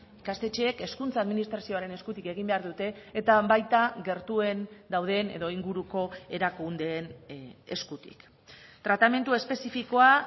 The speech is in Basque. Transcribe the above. ikastetxeek hezkuntza administrazioaren eskutik egin behar dute eta baita gertuen dauden edo inguruko erakundeen eskutik tratamendu espezifikoa